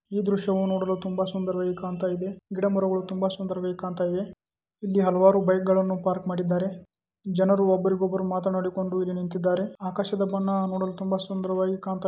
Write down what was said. ಈ ದೃಶ್ಯ ನೋಡಲು ತುಂಬಾ ಸುಂದರವಾಗಿ ಕಾಣ್ತಾ ಇದೆ ಗಿಡಮರ ಗಳು ತುಂಬಾ ಸುಂದರವಾಗಿ ಕಾಣ್ತಾ ಇದೆ ಇಲ್ಲಿ ಹಲವಾರು ಬೈಕ್ ಗಳನ್ನು ಪಾರ್ಕ್ ಮಾಡಿದ್ದಾರೆ ಜನರು ಒಬ್ಬರಿಗೊಬ್ಬರು ಮಾತನಾಡಿಕೊಂಡು ನಿಂತಿದ್ದಾರೆ ಆಕಾಶದ ಬಣ್ಣ ನೋಡಲು ತುಂಬಾ ಸುಂದರವಾಗಿ ಕಾಣ್ತಾ ಇದೆ .